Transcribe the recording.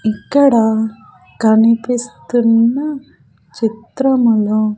ఇక్కడ కనిపిస్తున్న చిత్రములో --